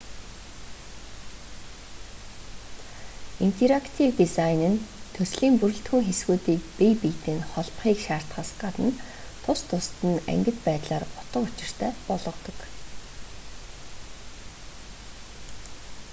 интерактив дизайн нь төслийн бүрэлдэхүүн хэсгүүдийг бие биетэй нь холбохыг шаардахаас гадна тус тусад нь ангид байдлаар утга учиртай болгодог